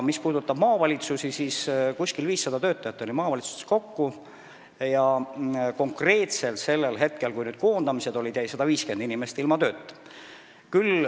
Mis puudutab maavalitsusi, siis seal oli kokku umbes 500 töötajat ja konkreetselt sellel hetkel, kui olid koondamised, jäi ilma tööta 150 inimest.